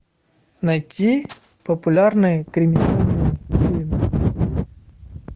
найти популярные криминальные фильмы